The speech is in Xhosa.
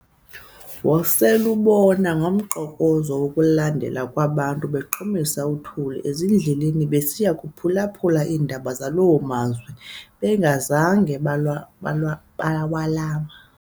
Wosel'ubona ngomqokozo wokulandelana kwabantu beqhumisa uthuli ezindleleni, besiya kuphulaphula iindaba zaloo mazwe bangazanga bawalama.